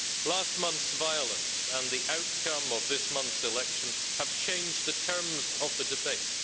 Last month's violence and the outcome of this month's election have changed the terms of the debate.